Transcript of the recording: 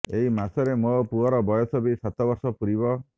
ଏଇ ମାସରେ ମୋ ପୁଅର ବୟସ ବି ସାତ ବର୍ଷ ପୂରିବ